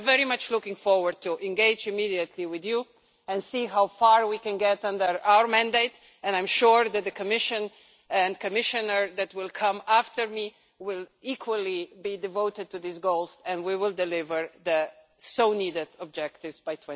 For that reason, I'm very much looking forward to engaging immediately with you and seeing how far we can get under our mandate, and I'm sure that the Commission and the Commissioner that will come after me will be equally devoted to these goals and we will deliver on those so badly needed objectives by